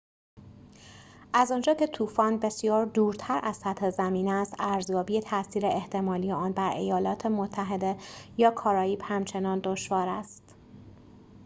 از آنجا که طوفان بسیار دورتر از سطح زمین است ارزیابی تأثیر احتمالی آن بر ایالات متحده یا کارائیب همچنان دشوار است